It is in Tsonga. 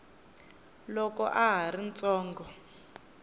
loko a ha ri ntsongo